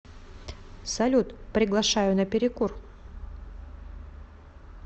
салют приглашаю на перекур